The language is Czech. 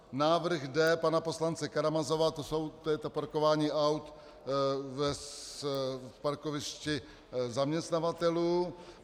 Návrh D pana poslance Karamazova, to je to parkování aut na parkovišti zaměstnavatelů.